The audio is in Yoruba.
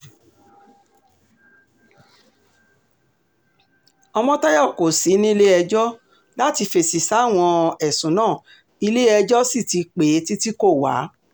ọmọ̩tayọ kò sí nílé̩-ẹjọ́ láti fèsì sáwọn ẹ̀sùn náà ilé-ẹjọ́ sì ti pè é títí kó wá